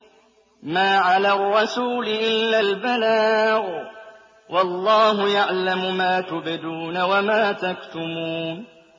مَّا عَلَى الرَّسُولِ إِلَّا الْبَلَاغُ ۗ وَاللَّهُ يَعْلَمُ مَا تُبْدُونَ وَمَا تَكْتُمُونَ